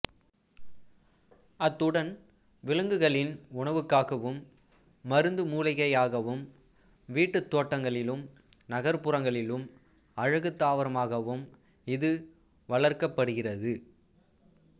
அத்துடன் விலங்குளின் உணவுக்காகவும் மருந்து மூலிகையாகவும் வீட்டுத் தோட்டங்களிலும் நகர்ப்புறங்களிலும் அழகுத் தாவரமாகவும் இது வளர்க்கப்படுகிறது